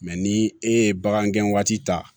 ni e ye bagan gɛn waati ta